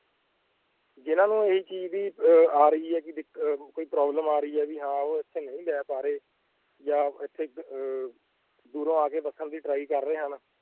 ਜਿਹਨਾਂ ਨੂੰ ਇਹ ਚੀਜ਼ ਦੀ ਅਹ ਆ ਰਹੀ ਹੈ ਕਿ ਦਿੱਕ~ ਅਹ ਕੋਈ problem ਆ ਰਹੀ ਹੈ ਵੀ ਹਾਂ ਉਹ ਇੱਥੇ ਨਹੀਂ ਲੈ ਪਾ ਰਹੇ ਜਾਂ ਇੱਥੇ ਅਹ ਦੂਰੋਂ ਆ ਕੇ ਵਸਣ ਦੀ try ਕਰ ਰਹੇ ਹਨ,